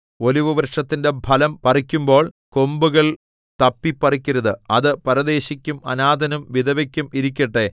ഒലിവുവൃക്ഷത്തിന്റെ ഫലം പറിക്കുമ്പോൾ കൊമ്പുകൾ തപ്പിപ്പറിക്കരുത് അത് പരദേശിക്കും അനാഥനും വിധവയ്ക്കും ഇരിക്കട്ടെ